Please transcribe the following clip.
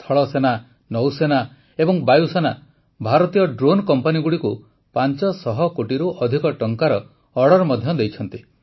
ସ୍ଥଳସେନା ନୌସେନା ଓ ବାୟୁସେନା ଭାରତୀୟ ଡ୍ରୋନ୍ କମ୍ପାନୀଗୁଡ଼ିକୁ ୫୦୦ କୋଟିରୁ ଅଧିକ ଟଙ୍କାର ଅର୍ଡର୍ ମଧ୍ୟ ଦେଇଛି